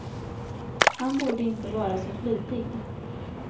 Han borde inte vara så flitig.